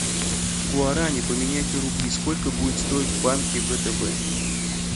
гуарани поменять на рубли сколько будет стоить в банке втб